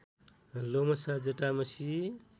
लोमशा जटामशी